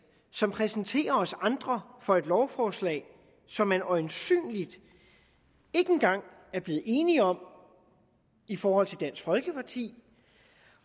som præsenterer os andre for et lovforslag som man øjensynlig ikke engang er blevet enige om i forhold til dansk folkeparti